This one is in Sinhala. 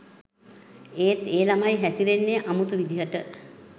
එත් ඒ ළමයි හැසිරෙන්නේ අමුතු විදිහට